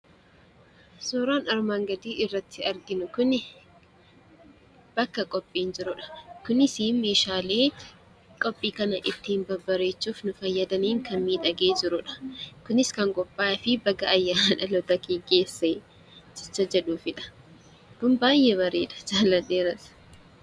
Suuraan armaan gadii irratti arginu kuni bakka qophiin jirudha. Kunisii meeshaalee qophii kana ittiin babbareechuuf nu fayyadaniin kan miidhagee jirudha. Kunis kan qophaa'eefii baga ayyaana dhalootakee geesse jecha jedhuufidha. Kun baayyee bareeda jaalladheeras.